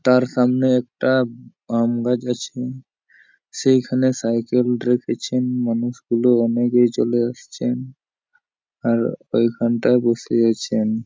তার সামনে একটা আম গাছ আছে সেই খানেই সাইকেল রেখেছেন মানুষগুলো অনেকেই চলে আসছেন। আর ঐ খানটা বসে আছেন।